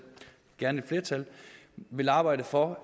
gerne flertal vil arbejde for